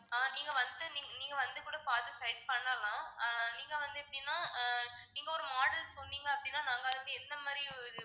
ஆஹ் நீங்க வந்து நீங்க நீங்க வந்து கூட பாத்து select பண்ணலாம் ஆஹ் நீங்க வந்து எப்படின்னா ஆஹ் நீங்க ஒரு model சொன்னீங்க அப்படின்னா நாங்க அதுக்கு எந்த மாதிரி ஒரு